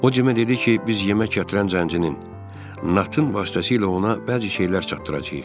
O Cimə dedi ki, biz yemək gətirən zəncirin Natın vasitəsilə ona bəzi şeylər çatdıracağıq.